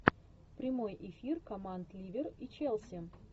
прямой эфир команд ливер и челси